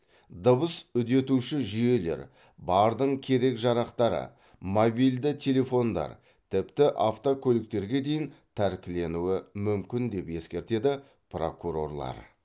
дыбыс үдетуші жүйелер бардың керек жарақтары мобильді телефондар тіпті автокөліктерге дейін тәркіленуі мүмкін деп ескертеді прокурорлар